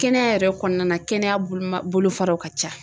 Kɛnɛya yɛrɛ kɔnɔna na kɛnɛya boloma bolofaraw ka ca.